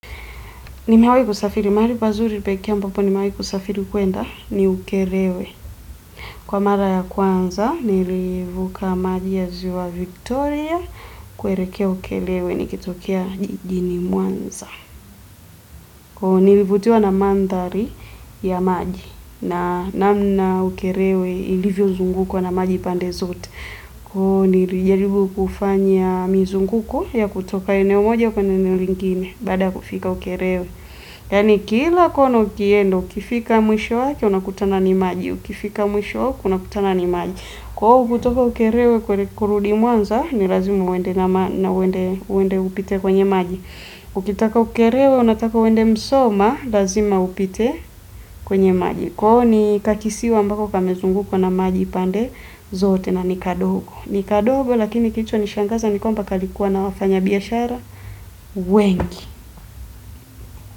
Nimewai kusafiri mahali pazuri pekee ampapo nimewai kusafiri kwenda ni ukerewe. Kwa mara ya kwanza nilivuka maji ya ziwa Victoria kuelekea ukelewe nikitokea jijini muanza. Nilivutiwa na mandhari ya maji na namna ukerewe ilivyo zungukwa na maji pande zote. Kwa hiyo nilijaribu kufanya mizunguko ya kutoka eneo moja kwa eneo lingine bada kufika ukerewe. Yaani kila kona ukienda, ukifika mwisho wake, unakutana ni maji, ukifika mwisho wake, unakutana ni maji. Kwa hiyo kutoka ukerewe kurudi mwanza, ni lazima uende na uende upite kwenye maji. Ukitaka ukerewe, unataka uende msoma, lazima upite kwenye maji. Kwao ni kakisiwa ambako kamezungukwa na maji pande zote na ni kadogo. Ni kadogo lakini kilichonishangaza ni kwamba kalikuwa na wafanya biashara, wengi.